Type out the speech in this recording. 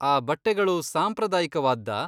ಆ ಬಟ್ಟೆಗಳು ಸಾಂಪ್ರದಾಯಿಕವಾದ್ದಾ?